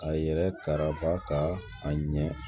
A yɛrɛ karaba ka a ɲɛ